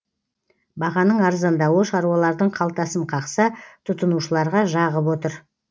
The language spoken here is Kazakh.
бағаның арзандауы шаруалардың қалтасын қақса тұтынушыларға жағып отыр